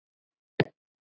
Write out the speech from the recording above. Elsku besti Gunni minn.